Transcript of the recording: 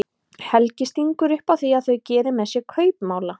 Helgi stingur upp á því að þau geri með sér kaupmála.